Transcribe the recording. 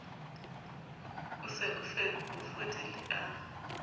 o se o fodile a